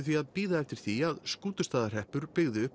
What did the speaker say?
því bíða eftir því að Skútustaðahreppur byggði upp